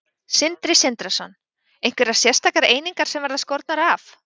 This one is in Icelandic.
Sindri Sindrason: Einhverjar sérstakar einingar sem verða skornar af?